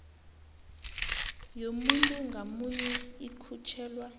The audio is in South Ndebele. yomuntu ngamunye ikhutjhelwa